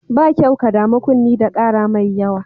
Ba kyau ka damu kunne da ƙara mai yawa.